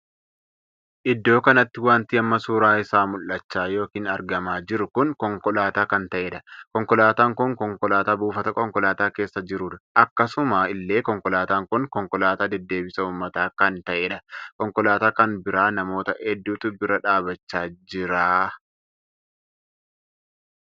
Iddoo kanatti wanti amma suuraa isaa mul'achaa ykn argamaa jiru kun konkolaataa kan tahedha. konkolaataan kun konkolaataa buufata konkolaataa keessa jirudha. akkasuma illee konkolaataan kun konkolaataa deddeebisa uummataa kan taheedha. konkolaataa kan bira namoota hedduutu bira dhaabbachaa jira.